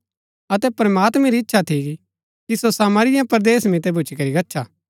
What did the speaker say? अतै प्रमात्मैं री इच्छा थी की सो सामरिया परदेस मितै भूच्ची करी गच्छा